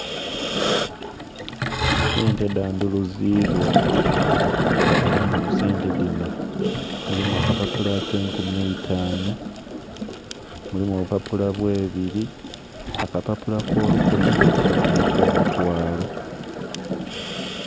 Sente dhandhuzibwa era nga mu sente dhino mulimu akapapula ake enkumi eitaanu, mulimu opupapula bwe'biri, aka papula ko lukumi nha kapapula ko mutwalo.